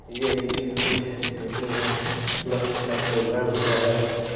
यह एक स्कूल है जो कि यहां बोहोत बड़ा प्रोग्राम हो रहा है।